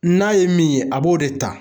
N'a ye min ye a b'o de ta